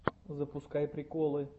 запускай приколы